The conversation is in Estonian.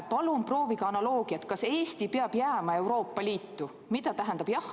Palun proovige analoogiat: kas Eesti peab jääma Euroopa Liitu?